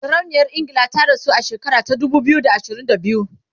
sarauniyar ingila ta rasu a shekara ta dubu biyu da ashirin da biyu